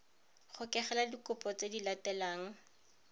gokelela dikhopi tse di latelang